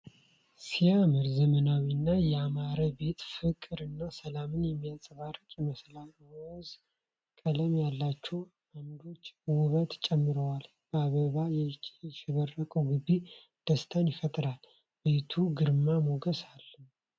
ሲያምር! ዘመናዊና ያማረ ቤት! ፍቅርና ሰላም የሚንጸባረቅበት ይመስላል። ሮዝ ቀለም ያላቸው ዓምዶች ውበት ጨምረዋል። በአበባ ያሸበረቀው ግቢ ደስታን ይፈጥራል። ቤቱ ግርማ ሞገስ አለው!